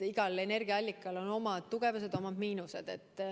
Igal energiaallikal on omad plussid ja omad miinused.